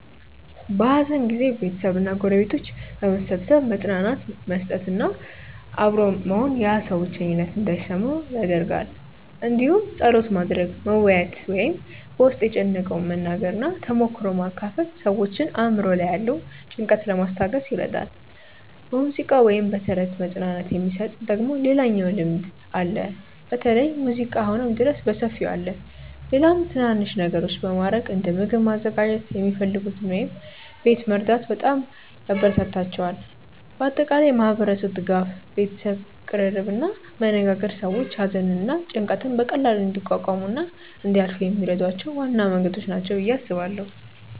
በሐዘን ጊዜ ቤተሰብ እና ጎረቤቶች በመሰብሰብ መጽናናት መስጠት እና አብሮ መሆን ያ ሰው ብቸኝነት እንዳይሰማው ይደረጋል እንዲሁም ጸሎት ማድረግ፣ መወያየት ወይም በ ውስጥን የጨነቀውን መናገር እና ተሞክሮ መካፈል ሰዎችን አእምሮ ላይ ያለውን ጭንቀት ለማስታገስ ይረዳል። በሙዚቃ ወይም በተረት መጽናናት የሚሰጥ ደግሞ ሌላኛው ልምድ አለ በተለይ ሙዚቃ አሁንም ድረስ በሰፊው አለ። ሌላም ትናናንሽ ነገሮች በማረግ እንደ ምግብ ማዘጋጀት የሚፈልጉትን ወይም ቤት መርዳት በጣም ያበራታታቸዋል። በአጠቃላይ ማህበረሰቡ ድጋፍ፣ ቤተሰብ ቅርርብ እና መነጋገር ሰዎች ሐዘንን እና ጭንቀትን በቀላሉ እንዲቋቋሙ እና እንዲያልፏ የሚረዷቸው ዋና መንገዶች ናቸው ብዬ አስባለው።